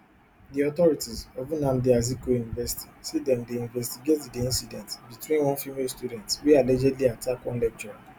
di authorities of nnamdi azikiwe university say dem dey investigate di incident between one female student wey allegedly attack one lecturer